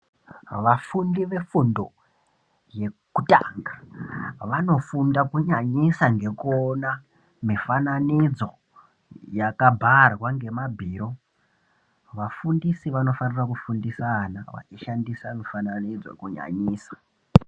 Vafundi vefundo yekutanga vanofunda kunyanyisa ngekuona mifananidzo yakabharwa ngemabhiro. Vafundisi vamofanira kufundisa ana vachishandisa mifananidzo kunyanyisa.